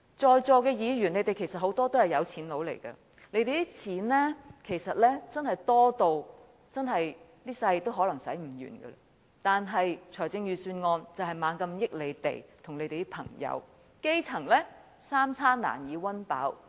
在座很多議員其實也是有錢人，他們的錢其實真的可能多得一輩子也花不完，但財政預算案卻不斷惠及他們和他們的朋友，而基層則三餐難以溫飽。